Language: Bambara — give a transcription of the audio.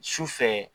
Sufɛ